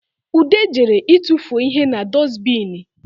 Ude jere ịtụfuo ihe na dusibini